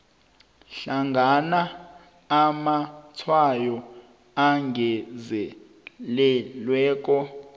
hlangana amatshwayo angezelelweko